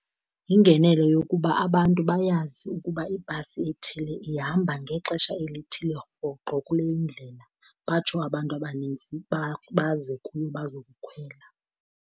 Yingenelo yokuba abantu bayazi ukuba ibhasi ethile ihamba ngexesha elithile rhoqo kule indlela, batsho abantu abaninzi baze kuyo bazokukhwela.